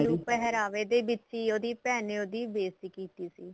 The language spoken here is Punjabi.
ਪਹਿਰਾਵੇ ਤੇ ਵਿਚ ਈ ਉਹਦੀ ਭੈਣ ਨੇ ਉਹਦੀ ਬੇਸਤੀ ਕੀਤੀ ਸੀ